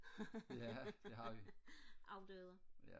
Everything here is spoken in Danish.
ja det har vi afdøde